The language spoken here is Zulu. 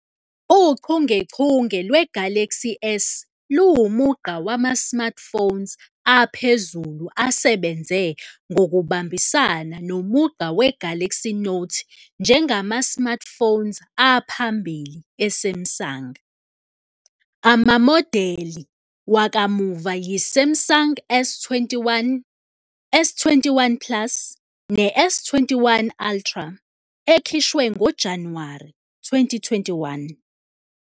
Uchungechunge lwe-Galaxy S luwumugqa wama-smartphones aphezulu asebenze ngokubambisana nomugqa we-Galaxy Note njengama-smartphones aphambili e-Samsung. Amamodeli wakamuva yi-Samsung S21, S21 plus, ne-S21 Ultra, ekhishwe ngoJanuwari 2021.